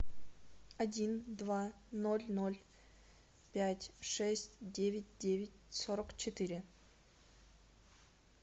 один два ноль ноль пять шесть девять девять сорок четыре